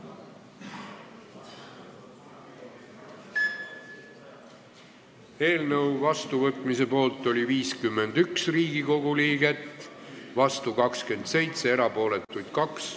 Hääletustulemused Eelnõu vastuvõtmise poolt oli 51 Riigikogu liiget, vastu 27, erapooletuid 2.